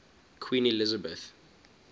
queen elizabeth